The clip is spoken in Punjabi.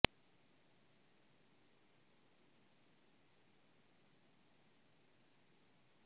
ਇਹ ਵੀ ਹੈ ਕਿ ਹਵਾਈ ਪਾਸਿਆਂ ਰਾਹੀਂ ਬਹੁਤ ਸੌਦੇ ਲੱਭਣ ਦਾ ਸਥਾਨ